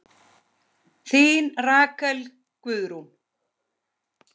Þín Rakel Guðrún.